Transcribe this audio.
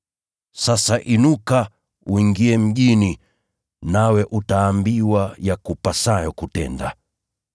Sasa inuka uingie mjini, nawe utaambiwa yakupasayo kutenda.”